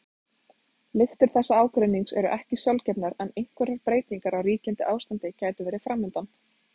Lyktir þessa ágreinings eru ekki sjálfgefnar en einhverjar breytingar á ríkjandi ástandi gætu verið framundan.